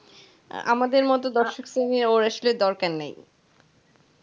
আমাদের মত দর্শক শ্রেণী ওর আসলে দরকার নেই,